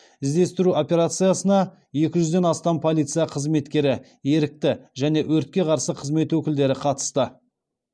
іздестіру операциясына екі жүзден астам полиция қызметкері ерікті және өртке қарсы қызмет өкілдері қатысты